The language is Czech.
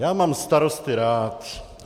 Já mám starosty rád.